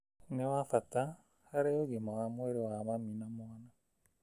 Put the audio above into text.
ni wa bata harĩ ũgima wa mwĩrĩ wa mami na mwana.